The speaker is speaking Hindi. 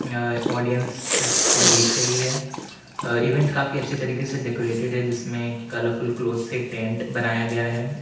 यह ऑडियंस इसको देख रही है अ इवेंट काफी अच्छे तरीके से डेकोरेटेड है जिसमें कलरफुल क्लॉथ से टेंट बनाया गया है।